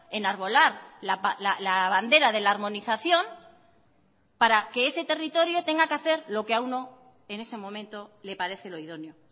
enarbolar la bandera de la armonización para que ese territorio tenga que hacer lo que a uno en ese momento le parece lo idóneo